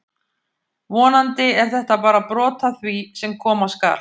Vonandi er þetta bara brot af því sem koma skal!